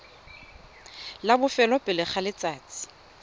la bofelo pele ga letsatsi